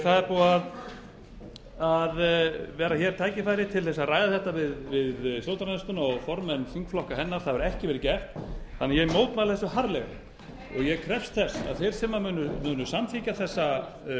það er búið að vera tækifæri til að ræða þetta við stjórnarandstöðuna og formenn þingflokka hennar en það hefur ekki verið gert þannig að ég mótmæli þessu harðlega og ég krefst þess að þeir sem munu samþykkja